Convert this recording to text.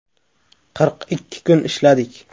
Qirq ikki kun ishladik.